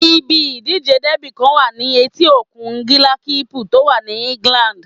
Ibi ìdíje dẹ́bì kan wà ní etí òkun bílákípùl tó wà ní England